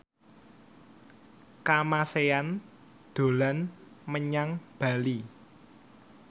Kamasean dolan menyang Bali